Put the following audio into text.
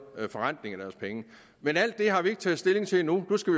forretning af deres penge men alt det har vi ikke taget stilling til endnu nu skal